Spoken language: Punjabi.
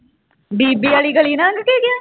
ਬੀਬੀ ਵਾਲੀ ਗਲੀ ਲੰਘ ਗਿਆ